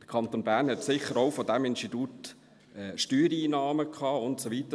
Der Kanton Bern hat von diesem Institut sicher auch Steuereinnahmen gehabt und so weiter.